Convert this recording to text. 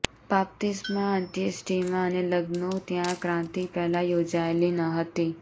બાપ્તિસ્મા અંત્યેષ્ટિમાં અને લગ્નો ત્યાં ક્રાંતિ પહેલા યોજાયેલી ન હતી